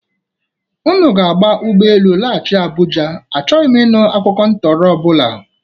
Ụnụ ga-aba ụgbọ elu laghachị Abụja. Achọghị m ịnụ akụkụ ntọrọ ọ bụla!